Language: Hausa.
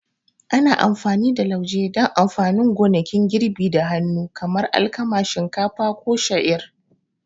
Ana amfani da lauje don amfanin gonakin girbi da hannu kamar alkama, shinkafa, ko sha'ir.